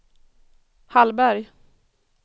Hallberg